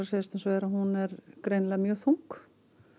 segjast eins og er að hún er greinilega mjög þung